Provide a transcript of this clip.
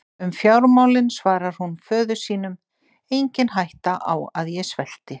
Um fjármálin svarar hún föður sínum: Engin hætta á að ég svelti.